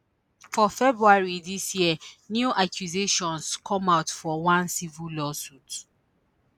for february dis year new accusations come out for one civil lawsuit